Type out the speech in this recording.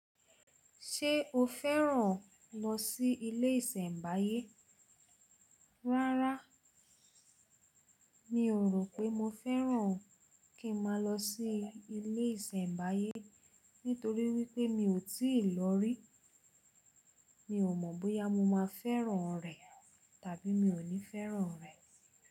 Ṣé o fẹ́ràn lọ sí ilé ìsẹ̀mbáyé? Rárá, mi ò rò pé mo fẹ́ràn kí n ma lọ sí ilé ìsẹ̀mbáyé nítorí wípé mi ò tíì lọ rí. Mi ò mọ̀ bóyá mo máa fẹ́ràn rẹ̀ tàbí mi ò ní fẹ́ràn rẹ̀.